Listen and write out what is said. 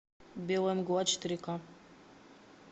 белая мгла четыре ка